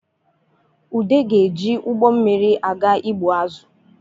Ude ga-eje ụgbọ mmiri aga ịgbụ azụ